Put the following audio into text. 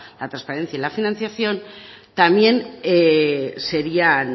la transparencia y la financiación también serían